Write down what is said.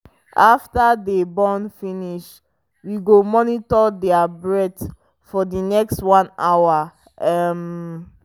after them born finish we go monitor their breath for the next 1 hour um